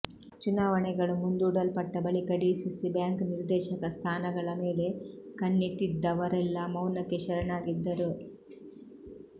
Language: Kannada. ಚುನಾವಣೆಗಳು ಮುಂದೂಡಲ್ಪಟ್ಟ ಬಳಿಕ ಡಿಸಿಸಿ ಬ್ಯಾಂಕ್ ನಿರ್ದೇಶಕ ಸ್ಥಾನಗಳ ಮೇಲೆ ಕಣ್ಣಿಟ್ಟಿದ್ದವರೆಲ್ಲ ಮೌನಕ್ಕೆ ಶರಣಾಗಿದ್ದರು